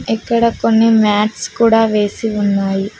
ఇక్కడ కొన్ని మ్యాట్స్ కూడా వేసి ఉన్నాయి.